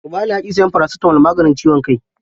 Ubali ya ƙi sayan farasitamol, maganin ciwon kai.